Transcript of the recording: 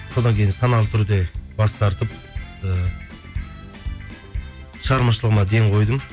содан кейін саналы түрде бас тартып ыыы шығармашылығыма ден қойдым